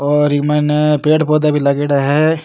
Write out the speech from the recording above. और इ मायने पेड़ पौधा भी लागेड़ा है।